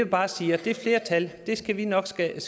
bare sige at det flertal skal vi nok skabe